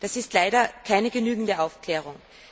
Das ist leider keine genügende Aufklärung.